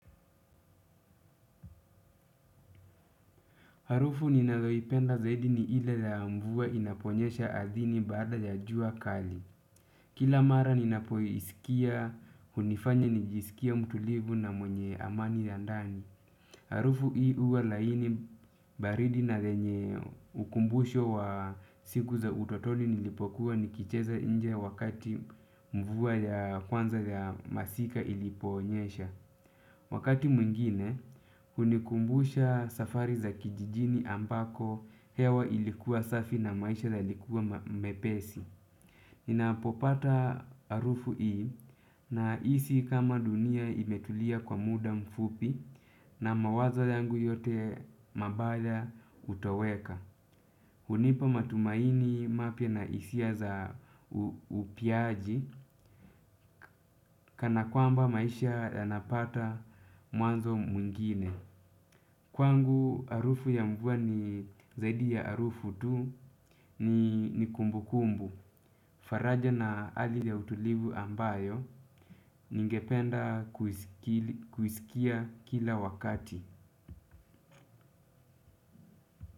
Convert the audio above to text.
Harufu ninazoipenda zaidi ni ile ya mvua inaponyesha ardhini baada ya jua kali. Kila mara ninapoisikia, hunifanya nijisikie mtulivu na mwenye amani ya ndani. Harufu hii huwa laini baridi na yenye ukumbusho wa siku za utotoni nilipokuwa nikicheza nje wakati mvua ya kwanza ya masika iliponyesha. Wakati mwingine, hunikumbusha safari za kijijini ambako hewa ilikuwa safi na maisha yalikuwa mepesi. Ninapopata harufu hii nahisi kama dunia imetulia kwa muda mfupi na mawazo yangu yote mabaya hutoweka. Hunipa matumaini mapya na hisia za upiaji kana kwamba maisha yanapata mwanzo mwingine. Kwangu harufu ya mvua ni zaidi ya harufu tu ni kumbukumbu. Faraja na hali ya utulivu ambayo ningependa kuisikia kila wakati.